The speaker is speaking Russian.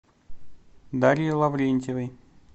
дарье лаврентьевой